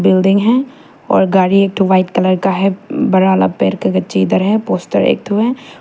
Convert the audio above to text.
Building है और गाड़ी एक व्हाइट कलर का है बड़ा वाला पेड़ के इधर है पोस्टर एक ठो है।